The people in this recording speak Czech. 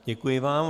Děkuji vám.